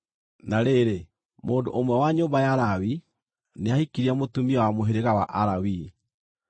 Na rĩrĩ, mũndũ ũmwe wa nyũmba ya Lawi nĩahikirie mũtumia wa mũhĩrĩga wa Alawii,